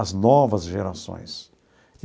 as novas gerações.